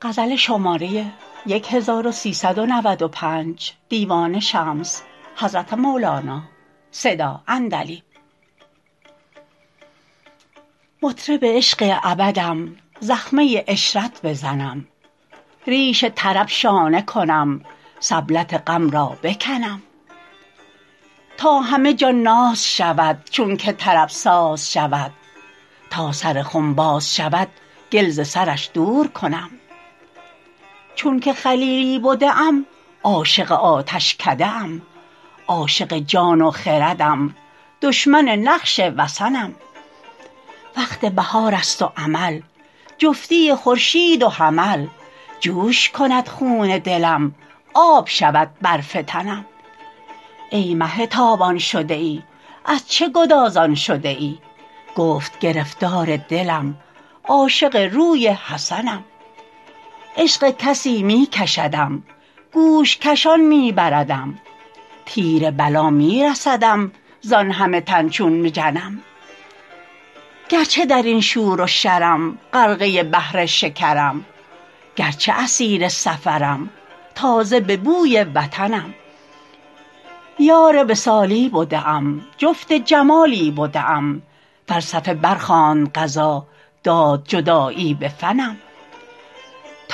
مطرب عشق ابدم زخمه عشرت بزنم ریش طرب شانه کنم سبلت غم را بکنم تا همه جان ناز شود چونک طرب ساز شود تا سر خم باز شود گل ز سرش دور کنم چونک خلیلی بده ام عاشق آتشکده ام عاشق جان و خردم دشمن نقش وثنم وقت بهارست و عمل جفتی خورشید و حمل جوش کند خون دلم آب شود برف تنم ای مه تابان شده ای از چه گدازان شده ای گفت گرفتار دلم عاشق روی حسنم عشق کسی می کشدم گوش کشان می بردم تیر بلا می رسدم زان همه تن چون مجنم گرچه در این شور و شرم غرقه بحر شکرم گرچه اسیر سفرم تازه به بوی وطنم یار وصالی بده ام جفت جمالی بده ام فلسفه برخواند قضا داد جدایی به فنم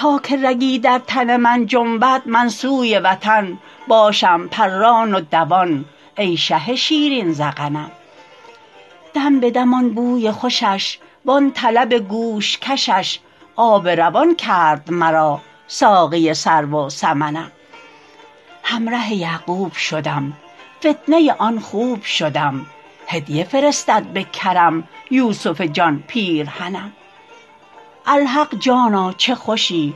تا که رگی در تن من جنبد من سوی وطن باشم پران و دوان ای شه شیرین ذقنم دم به دم آن بوی خوشش وان طلب گوش کشش آب روان کرد مرا ساقی سرو و سمنم همره یعقوب شدم فتنه آن خوب شدم هدیه فرستد به کرم یوسف جان پیرهنم الحق جانا چه خوشی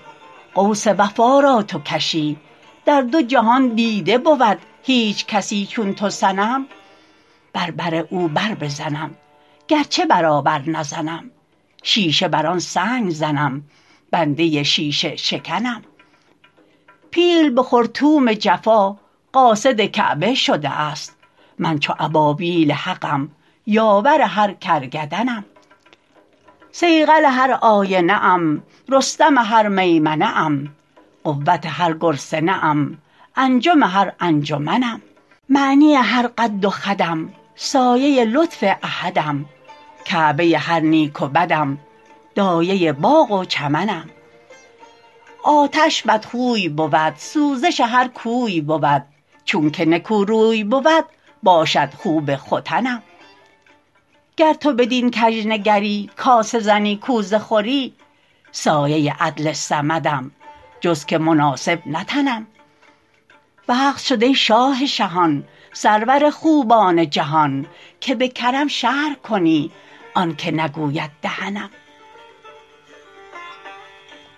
قوس وفا را تو کشی در دو جهان دیده بود هیچ کسی چون تو صنم بر بر او بربزنم گرچه برابر نزنم شیشه بر آن سنگ زنم بنده شیشه شکنم پیل به خرطوم جفا قاصد کعبه شده است من چو ابابیل حقم یاور هر کرگدنم صیقل هر آینه ام رستم هر میمنه ام قوت هر گرسنه ام انجم هر انجمنم معنی هر قد و خدم سایه لطف احدم کعبه هر نیک و بدم دایه باغ و چمنم آتش بدخوی بود سوزش هر کوی بود چونک نکوروی بود باشد خوب ختنم گر تو بدین کژ نگری کاسه زنی کوزه خوری سایه عدل صمدم جز که مناسب نتنم وقت شد ای شاه شهان سرور خوبان جهان که به کرم شرح کنی آنک نگوید دهنم